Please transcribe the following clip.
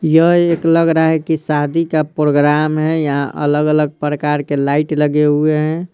यह एक लग रहा हैकि शादी का प्रोग्राम है यहाँ अलग-अलग प्रकार के लाइट लगे हुए हैं।